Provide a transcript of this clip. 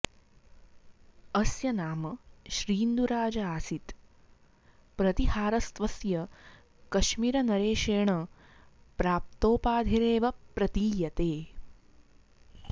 अस्य नाम श्रीन्दुराज आसीत् प्रतीहारस्त्वस्य कश्मीरनरेशेन प्राप्तोपाधिरेव प्रतीयते